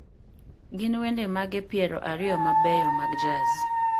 Gin wende mage piero ariyo mabeyo mag jazz